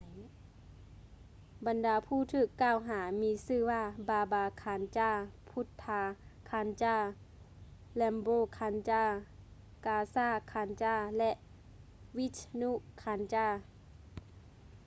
ບັນດາຜູ້ຖືກກ່າວຫາມີຊື່ວ່າ ບາບາ ຄານຈາ baba kanjar ພຸດທາ ຄານຈາ bhutha kanjar ແຣມໂປຼ ຄານຈາ rampro kanjar ກາຊາ ຄານຈາ gaza kanjar ແລະ ວິສນຸ ຄານຈາ vishnu kanjar